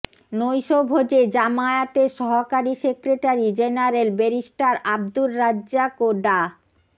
নৈশভোজে জামায়াতের সহকারী secretary general barrister Abdur Razzaq ও ডা